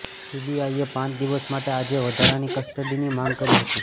સીબીઆઈએ પાંચ દિવસ માટે આજે વધારાની કસ્ટડીની માંગ કરી હતી